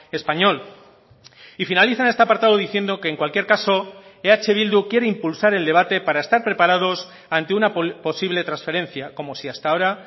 español y finalizan este apartado diciendo que en cualquier caso eh bildu quiere impulsar el debate para estar preparados ante una posible transferencia como si hasta ahora